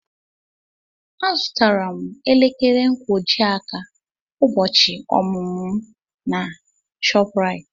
Azụtara m elekere nkwojiaka ụbọchị ọmụmụ m na ShopRite.